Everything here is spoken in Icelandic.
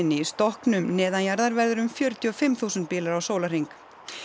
í stokknum verður um fjörutíu og fimm þúsund bílar á sólarhring